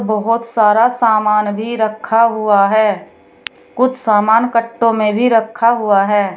बहोत सारा सामान भी रखा हुआ है कुछ सामान कट्टो में भी रखा हुआ है।